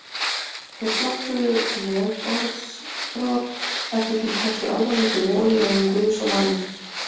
Þeir flokkuðu legorðsbrot eftir því hversu alvarleg þau voru í augum guðs og manna.